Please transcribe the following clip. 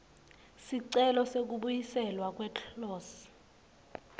sicelo sekubuyiselwa kweclose